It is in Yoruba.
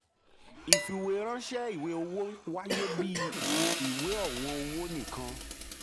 ìfìwéránṣẹ́ ìwé owó wáyé bíi ìwé ọ̀wọ́n owó nìkan.